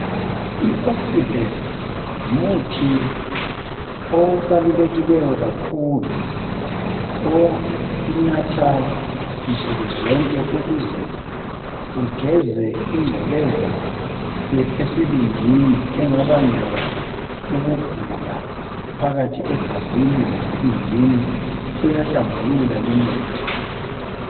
I okisibhesithi ngumuthi obalulekileyo kakhulu onathwa nsukuzonke ukuze ugeze ingcekeza esibindini engabangela ukugula phakathi egazini lesibindini uyahlambulula lumuthi.